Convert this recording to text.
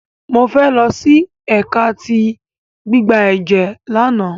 Mofe losi ẹka ti gbigbe ẹjẹ làná